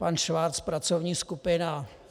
Pan Schwarz - pracovní skupina.